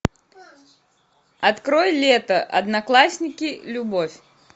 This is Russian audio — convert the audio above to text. открой лето одноклассники любовь